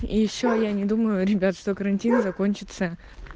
и ещё я не думаю ребят что карантин закончится